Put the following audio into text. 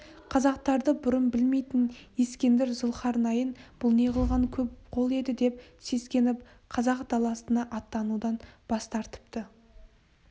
қазақтарды бұрын білмейтін ескендір зұлхарнайын бұл не қылған көп қол еді деп сескеніп қазақ даласына аттанудан бас тартыпты